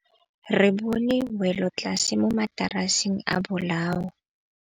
Re bone wêlôtlasê mo mataraseng a bolaô.